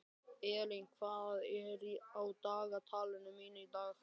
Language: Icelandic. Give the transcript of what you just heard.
Eylín, hvað er á dagatalinu mínu í dag?